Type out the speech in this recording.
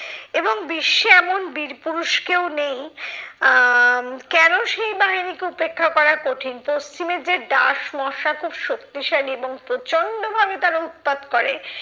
এবং বিশ্বে এমন বীরপুরুষ কেউ নেই আহ কেন সেই বাহিনীকে উপেক্ষা করা কঠিন? পশ্চিমে যে ডাস মশা খুব শক্তিশালী এবং প্রচন্ড ভাবে তারা উৎপাত করে,